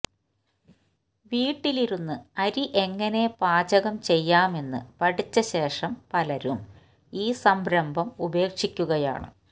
വീട്ടിലിരുന്ന് അരി എങ്ങിനെ പാചകം ചെയ്യാമെന്ന് പഠിച്ച ശേഷം പലരും ഈ സംരംഭം ഉപേക്ഷിക്കുകയാണ്